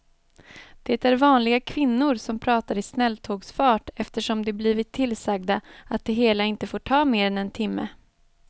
Det är vanliga kvinnor som pratar i snälltågsfart eftersom de blivit tillsagda att det hela inte får ta mer än en timme.